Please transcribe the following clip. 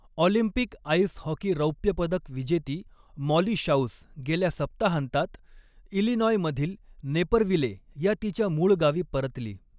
Olympic ice hockey रौप्यपदक विजेती Molly शाउस गेल्या सप्ताहांतात इलिनॉयमधील नेपरविले या तिच्या मूळ गावी परतली.